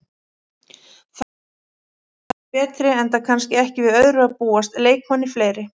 Þar reyndust Fjölnismenn betri enda kannski ekki við öðru að búast, leikmanni fleiri.